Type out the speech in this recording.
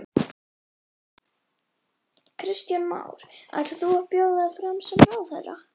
Kristján Már: Ætlar þú að bjóða þig fram sem ráðherra?